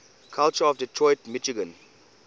culture of detroit michigan